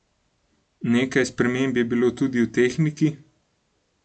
Nekaj sprememb je bilo tudi v tehniki?